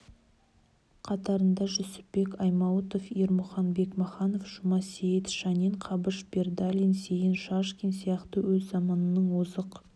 қатарында жүсіпбек аймауытов ермұхан бекмаханов жұмасейіт шанин қабыш бердалин зейін шашкин сияқты өз заманының озық